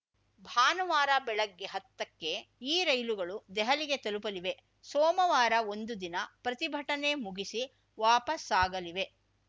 ಭಾನುವಾರ ಬೆಳಗ್ಗೆ ಹತ್ತಕ್ಕೆ ಈ ರೈಲುಗಳು ದೆಹಲಿಗೆ ತಲುಪಲಿವೆ ಸೋಮವಾರ ಒಂದು ದಿನ ಪ್ರತಿಭಟನೆ ಮುಗಿಸಿ ವಾಪಸಾಗಲಿವೆ